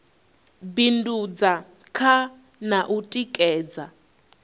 bindudza kha na u tikedza